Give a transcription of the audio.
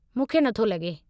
मूंखे नथो लॻे।